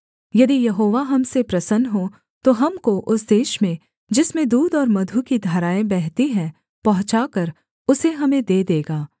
यदि यहोवा हम से प्रसन्न हो तो हमको उस देश में जिसमें दूध और मधु की धाराएँ बहती हैं पहुँचाकर उसे हमें दे देगा